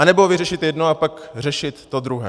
Anebo vyřešit jedno a pak řešit to druhé?